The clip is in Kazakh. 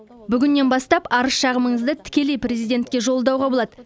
бүгіннен бастап арыз шағымыңызды тікелей президентке жолдауға болады